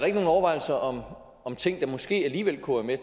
ikke nogen overvejelser om ting der måske alligevel kunne være